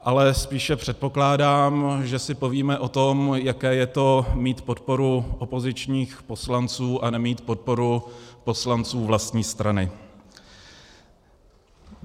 Ale spíše předpokládám, že si povíme o tom, jaké je to mít podporu opozičních poslanců a nemít podporu poslanců vlastní strany.